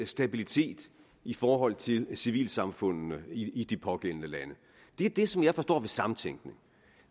stabilitet i forhold til civilsamfundene i de pågældende lande det er det som jeg forstår ved samtænkning